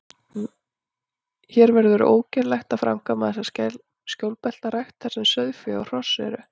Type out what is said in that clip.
Hér verður því ógerlegt að framkvæma þessa skjólbeltarækt, þar sem sauðfé og hross eru.